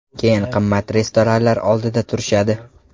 Keyin qimmat restoranlar oldida turishadi.